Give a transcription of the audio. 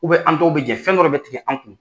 an dɔw bɛ jɛn fɛndɔ de bɛ tigɛ an kun.